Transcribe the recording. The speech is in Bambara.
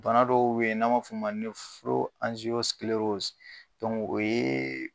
Bana dɔw be ye n'an m'a f'o ma o yee